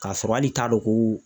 K'a sɔrɔ hali t'a dɔn ko